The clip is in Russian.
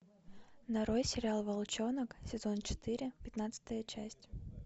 нарой сериал волчонок сезон четыре пятнадцатая часть